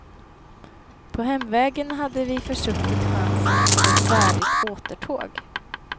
På hemvägen hade vi försuttit chansen till ett värdigt återtåg.